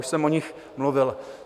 Už jsem o nich mluvil.